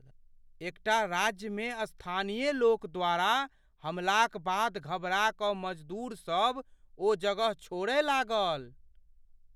एकटा राज्यमे स्थानीय लोक द्वारा हमलाक बाद घबरा कऽ मजदूरसब ओ जगह छोड़य लागल।